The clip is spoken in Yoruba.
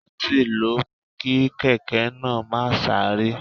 Throttle ló mú kí kèké náà máa sáré.